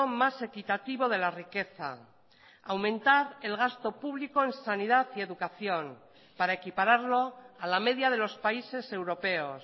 más equitativo de la riqueza aumentar el gasto público en sanidad y educación para equipararlo a la media de los países europeos